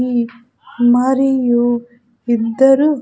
యి మరియు ఇద్దరు --